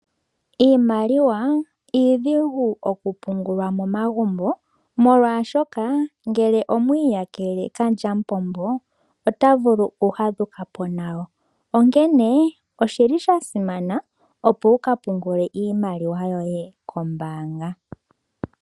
Iimaliwa iidhigu okupungulwa momagumbo, molwashoka ngele omwa iyakele kalyamupombo ota vulu okufadhuka po nayo. Onkene osha simana, opo wu ka pungule iimaliwa yoye kombaanga.